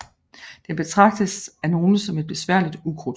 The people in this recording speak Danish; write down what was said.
Den betragtes af nogle som et besværligt ukrudt